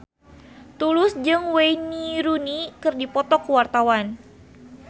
Tulus jeung Wayne Rooney keur dipoto ku wartawan